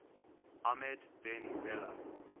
ahmed ben bella